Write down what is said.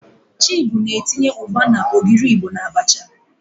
Chibu na-etinye ugba na ogiri Igbo n'abacha.